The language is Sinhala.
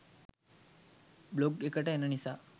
බ්ලොග් එකට එන නිසා